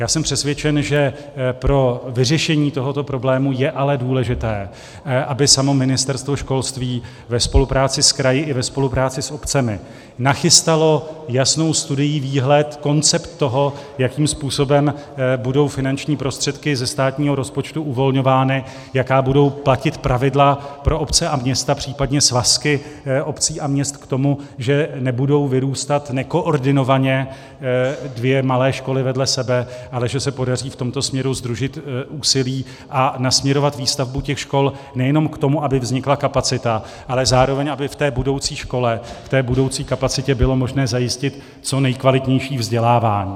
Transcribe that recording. Já jsem přesvědčen, že pro vyřešení tohoto problému je ale důležité, aby samo Ministerstvo školství ve spolupráci s kraji i ve spolupráci s obcemi nachystalo jasnou studii, výhled, koncept toho, jakým způsobem budou finanční prostředky ze státního rozpočtu uvolňovány, jaká budou platit pravidla pro obce a města, případně svazky obcí a měst k tomu, že nebudou vyrůstat nekoordinovaně dvě malé školy vedle sebe, ale že se podaří v tomto směru sdružit úsilí a nasměrovat výstavbu těch škol nejenom k tomu, aby vznikla kapacita, ale zároveň aby v té budoucí škole, v té budoucí kapacitě bylo možné zajistit co nejkvalitnější vzdělávání.